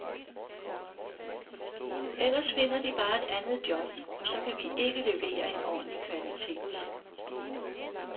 Ellers finder de bare et andet job, og så kan vi ikke levere en ordentlig kvalitet.